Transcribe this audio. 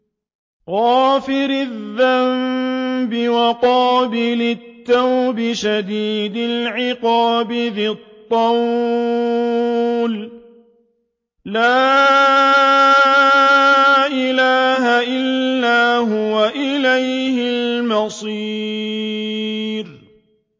غَافِرِ الذَّنبِ وَقَابِلِ التَّوْبِ شَدِيدِ الْعِقَابِ ذِي الطَّوْلِ ۖ لَا إِلَٰهَ إِلَّا هُوَ ۖ إِلَيْهِ الْمَصِيرُ